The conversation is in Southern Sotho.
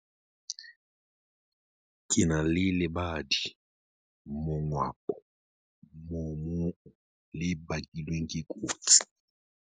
Ke na le lebadi-mongwapo moomong le bakilweng ke kotsi.